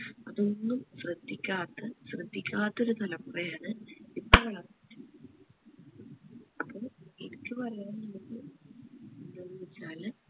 അതൊന്നും ശ്രദ്ധിക്കാത്ത ശ്രദ്ധിക്കാത്ത ഒരു തലമുറ ആണ് ഇപ്പോ വളർന്നു വരുന്നത് അപ്പോ എനിക്ക് പറയാനുള്ളത് എന്തെന്നവെച്ചാൽ